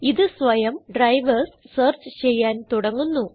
ഇത് സ്വയം drivers search ചെയ്യാൻ തുടങ്ങുന്നു